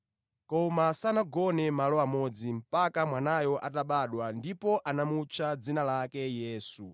Koma sanagone malo amodzi mpaka mwanayo atabadwa ndipo anamutcha dzina lake Yesu.